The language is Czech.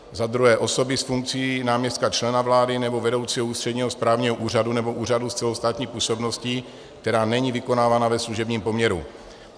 za druhé, osoby s funkcí náměstka člena vlády nebo vedoucího ústředního správního úřadu nebo úřadu s celostátní působností, která není vykonávaná ve služebním poměru.